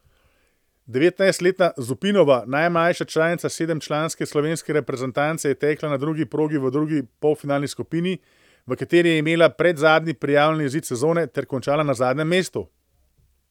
Devetnajstletna Zupinova, najmlajša članica sedemčlanske slovenske reprezentance, je tekla na drugi progi v drugi polfinalni skupini, v kateri je imela predzadnji prijavljeni izid sezone, ter končala na zadnjem mestu.